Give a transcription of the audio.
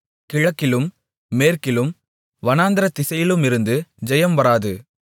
கிழக்கிலும் மேற்கிலும் வனாந்திரதிசையிலுமிருந்து ஜெயம் வராது